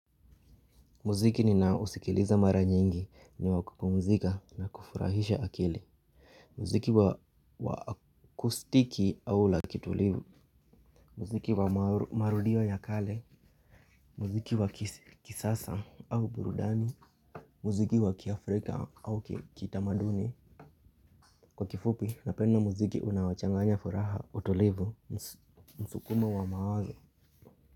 Muziki ninao usikiliza mara nyingi ni wa kupumuzika na kufurahisha akili. Muziki wa kustiki au la kitulivu muziki wa marudio ya kale muziki wa kisasa au burudani muziki wa kiafrika au kitamaduni kwa kifupi napenda muziki unaochanganya furaha utulivu msukumo wa mawazo.